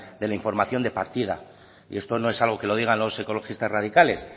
de la información de partida y esto no es algo que lo digan los ecologistas radicales